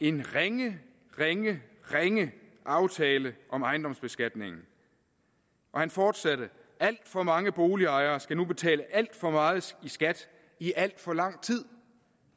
en ringe ringe ringe aftale om ejendomsbeskatningen og han fortsatte alt for mange boligejere skal nu betale alt for meget i skat i al for lang tid